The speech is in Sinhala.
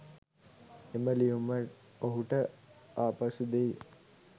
එම ලියුම ඔහුට ආපසු දෙයි.